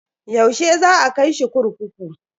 Yaushe za a kai shi kurkuku?